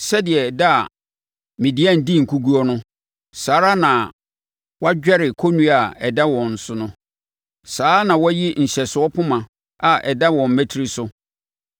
Sɛdeɛ da a Midian dii nkoguo no, saa ara na woadwɛre kɔnnua a ɛda wɔn so no; saa ara na woayi nhyɛsofoɔ poma a ɛda wɔn mmatire so.